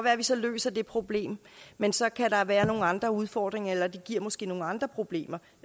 at vi så løser det problem men så kan der være nogle andre udfordringer eller det giver måske nogle andre problemer